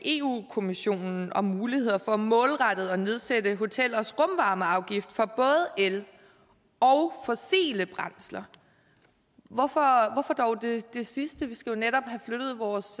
kommissionen om muligheder for målrettet at nedsætte hotellets rumvarmeafgift for både el og fossile brændsler hvorfor dog det sidste vi skal jo netop have flyttet vores